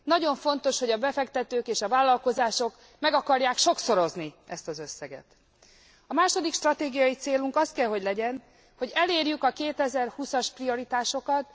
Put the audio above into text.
Nagyon fontos, hogy a befektetők és a vállalkozások meg akarják sokszorozni ezt az összeget. A második stratégiai célunk az kell, hogy legyen, hogy elérjük a 2020 as prioritásokat.